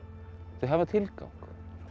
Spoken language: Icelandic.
þau hafa tilgang